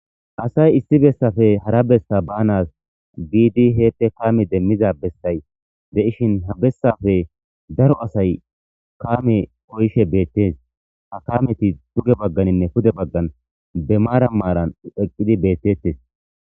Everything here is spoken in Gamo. Asay issi bessafe hara bessa baanas biidi heette kaame demmiza bessay de7ishin ha bessafe daro asay kaame oyshe beettees ha kaameti tuge bagganinne pude baggan be maara maaran eqqidi beettettes